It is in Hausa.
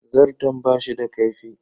Zarton bashi da kaifi.